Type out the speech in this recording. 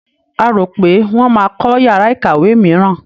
A rò pé wọ́n máa kọ́ yàrá ìkàwé mìíràn.